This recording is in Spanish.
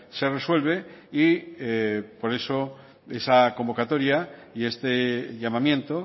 se resuelve y por eso esa convocatoria y este llamamiento